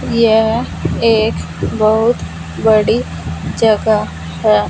यह एक बहोत बड़ी जगह है।